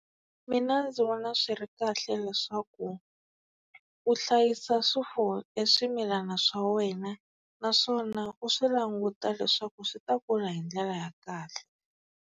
Mina ndzi vona swi ri kahle leswaku u hlayisa swifuwo e swimilana swa wena naswona u swi languta leswaku swi ta kula hi ndlela ya kahle.